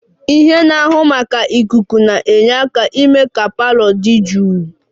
Ihe na-ahụ maka ikuku na-enyere aka na-eme ka parlour dị jụụ